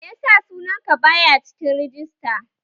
Meyasa sunan ka baya cikin rajista